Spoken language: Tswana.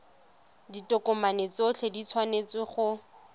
ditokomane tsotlhe di tshwanetse go